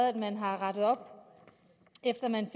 at man har rettet op efter at man